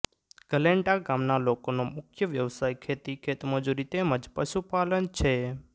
ગલેન્ડા ગામના લોકોનો મુખ્ય વ્યવસાય ખેતી ખેતમજૂરી તેમ જ પશુપાલન છે